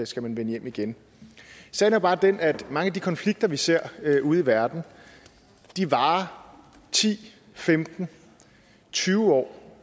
skal vende hjem igen sagen er bare den at mange af de konflikter vi ser ude i verden varer ti femten tyve år